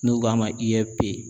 N'u k'a ma IFP.